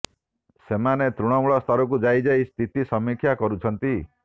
ସେମାନେ ତୃଣମୂଳ ସ୍ତରକୁ ଯାଇ ଯାଇ ସ୍ଥିତି ସମୀକ୍ଷା କରୁଛନ୍ତି